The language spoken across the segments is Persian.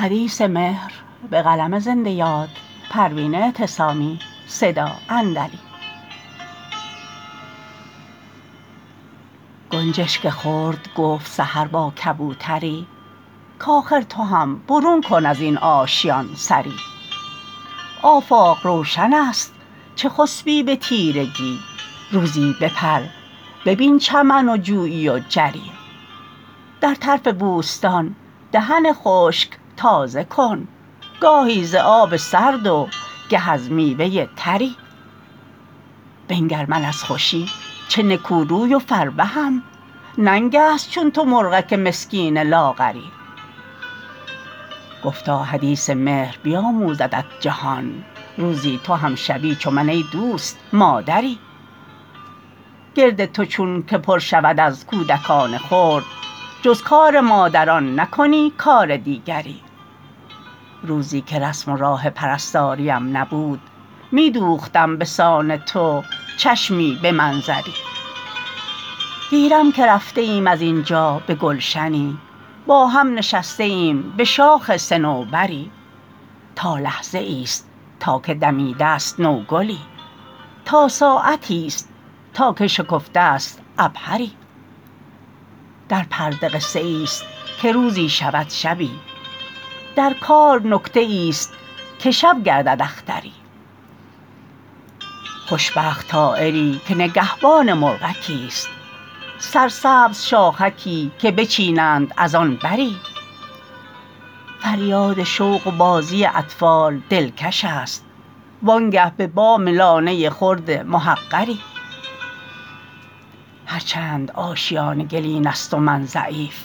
گنجشک خرد گفت سحر با کبوتری کآخر تو هم برون کن ازین آشیان سری آفاق روشن است چه خسبی به تیرگی روزی بپر ببین چمن و جویی و جری در طرف بوستان دهن خشک تازه کن گاهی ز آب سرد و گه از میوه تری بنگر من از خوشی چه نکو روی و فربهم ننگست چون تو مرغک مسکین لاغری گفتا حدیث مهر بیاموزدت جهان روزی تو هم شوی چو من ایدوست مادری گرد تو چون که پر شود از کودکان خرد جز کار مادران نکنی کار دیگری روزیکه رسم و راه پرستاریم نبود میدوختم بسان تو چشمی به منظری گیرم که رفته ایم از اینجا به گلشنی با هم نشسته ایم بشاخ صنوبری تا لحظه ایست تا که دمیدست نوگلی تا ساعتی است تا که شکفته است عبهری در پرده قصه ایست که روزی شود شبی در کار نکته ایست که شب گردد اختری خوشبخت طایری که نگهبان مرغکی است سرسبز شاخکی که بچینند از آن بری فریاد شوق و بازی اطفال دلکش است وانگه به بام لانه خرد محقری هر چند آشیانه گلین است و من ضعیف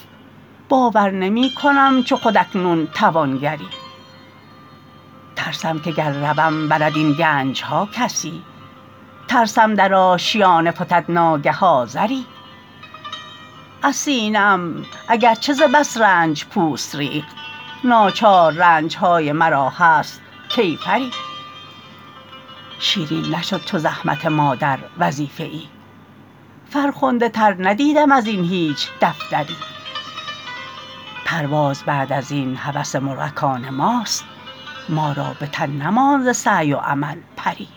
باور نمیکنم چو خود اکنون توانگری ترسم که گر روم برد این گنجها کسی ترسم در آشیانه فتد ناگه آذری از سینه ام اگرچه ز بس رنج پوست ریخت ناچار رنجهای مرا هست کیفری شیرین نشد چو زحمت مادر وظیفه ای فرخنده تر ندیدم ازین هیچ دفتری پرواز بعد ازین هوس مرغکان ماست ما را بتن نماند ز سعی و عمل پری